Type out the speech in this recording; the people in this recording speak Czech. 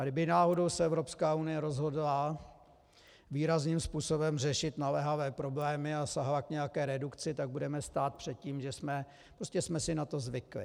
A kdyby náhodou se Evropská unie rozhodla výrazným způsobem řešit naléhavé problémy a sáhla k nějaké redukci, tak budeme stát před tím, že jsme si na to zvykli.